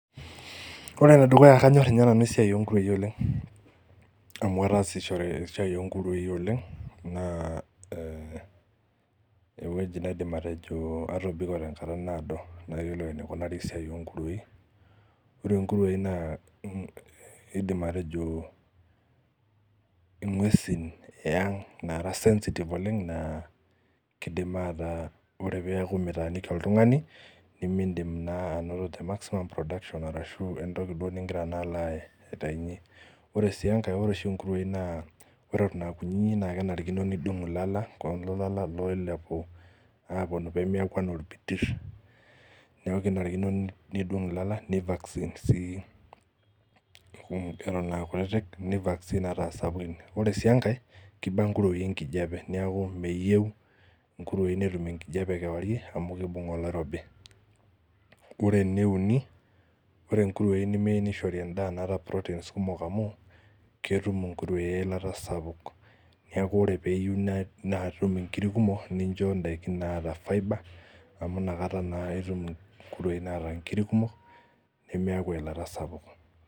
Ore enedukuya kanyorr inye nanu esiai onkuruei oleng amu ataasishore esiai onkuruei oleng naa eh ewueji naidim atejo atobiko tenkata naado nayiolou enikunari esiai onkuruei ore inkuruei naa eh aidim atejo eh ing'uesin eang naara sensitive oleng naa kidim ataa ore peaku mitaaniki oltung'ani nimindim naa anoto te maximum production arashu entoki duo ningira naa alo aitainyie ore sii enkae ore oshi inkuruei naa ore eton akunyinyik naa kenarikino nidung ilala kulo lala oilepu aponu pemiaku enaa orbitirr niaku kinarikino nidung ilala nii vaccine sii eton akutitik ni vaccine ata asapukin ore sii enkae kiba inkuruei enkijape niaku meyieu inkuruei netum enkijape kewarie amu kibung oloirobi ore eneuni ore inkuruei nemei nishori endaa naata proteins kumok amu ketum inkuruei eilata sapuk niaku ore peeyiu netum inkiri kumok nincho indaiki naata fibre amu inakata naa etum inkuruei naata inkuruei kumok nemeeku eilata sapuk.